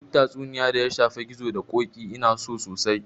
Duk tatsuniya da ya shafi gizo da ƙoƙi Ina so sosai